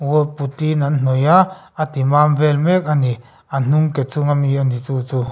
wall putty an hnawih a a timam vel mek ani a hnung ke chunga mi a ni chu chu.